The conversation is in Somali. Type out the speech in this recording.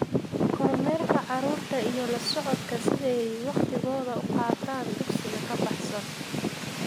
Kormeerka carruurta iyo la socodka sida ay wakhtigooda ugu qaataan dugsiga ka baxsan.